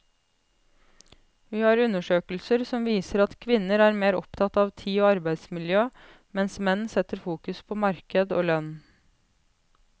Vi har undersøkelser som viser at kvinner er mer opptatt av tid og arbeidsmiljø, mens menn setter fokus på marked og lønn.